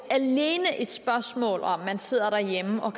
er et spørgsmål om at man sidde derhjemme og